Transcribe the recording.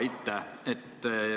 Aitäh!